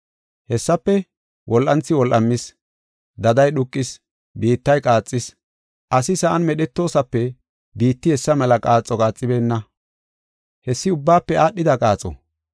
Hessafe wol7anthi wol7amis; daday dhuuqis, biittay qaaxis. Asi sa7an medhetoosape biitti hessa mela qaaxo qaaxibeenna. Hessi ubbaafe aadhida qaaxo.